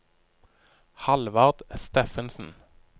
Hallvard Steffensen